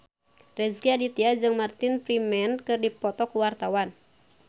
Rezky Aditya jeung Martin Freeman keur dipoto ku wartawan